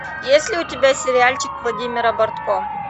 есть ли у тебя сериальчик владимира бортко